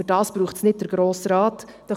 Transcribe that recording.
Aber dafür braucht es den Grossen Rat nicht.